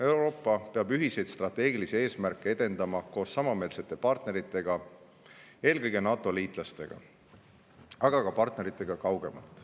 Euroopa peab ühiseid strateegilisi eesmärke edendama koos samameelsete partneritega, eelkõige NATO liitlastega, aga ka partneritega kaugemalt.